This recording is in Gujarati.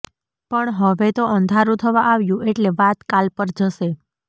પણ હવે તો અંધારું થવા આવ્યું એટલે વાત કાલ પર જશે